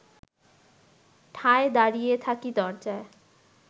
ঠায় দাঁড়িয়ে থাকি দরজায়